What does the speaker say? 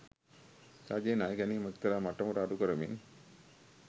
රජය ණය ගැනිම එක්තරා මට්ටමකට අඩු කරමින්